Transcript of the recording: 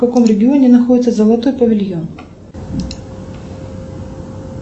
в каком регионе находится золотой павильон